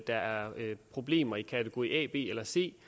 der er problemer i kategori a b eller c